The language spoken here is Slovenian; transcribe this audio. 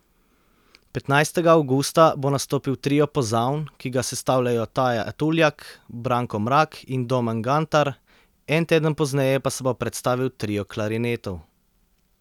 Petnajstega avgusta bo nastopil trio pozavn, ki ga sestavljajo Taja Tuljak, Branko Mrak in Domen Gantar, en teden pozneje pa se bo predstavil trio klarinetov.